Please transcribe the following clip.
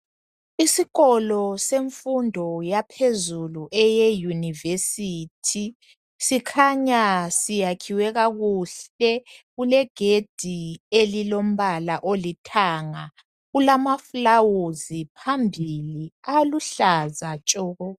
Isikolo semfundo yaphezulu eyeuniversity sikhanya siyakhiwe kakuhle kulegedi elilombala olithanga kulamafulawuzi phambili aluhlaza tshoko.